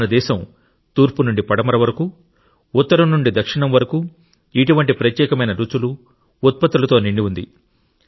మన దేశం తూర్పు నుండి పడమర వరకు ఉత్తరం నుండి దక్షిణం వరకు ఇటువంటి ప్రత్యేకమైన రుచులు ఉత్పత్తులతో నిండి ఉంది